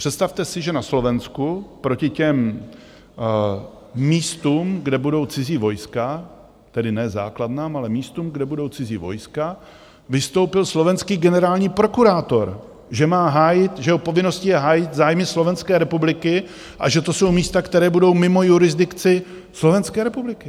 Představte si, že na Slovensku proti těm místům, kde budou cizí vojska - tedy ne základnám, ale místům, kde budou cizí vojska - vystoupil slovenský generální prokurátor, že jeho povinností je hájit zájmy Slovenské republiky a že to jsou místa, která budou mimo jurisdikci Slovenské republiky.